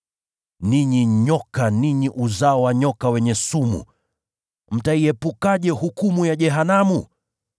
“Ninyi nyoka, ninyi uzao wa nyoka wenye sumu! Mtaiepukaje hukumu ya jehanamu?